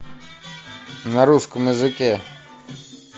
на русском языке